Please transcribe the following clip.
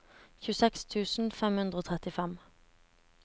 tjueseks tusen fem hundre og trettifem